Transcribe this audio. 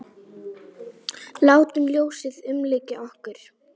Látum ljósið umlykja okkur.